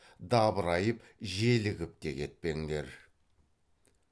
дабырайып желігіп те кетпеңдер